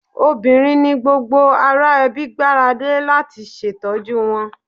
Obìnrin ni gbogbo ará ẹbí gbára lé láti ṣètọ́jú wọn.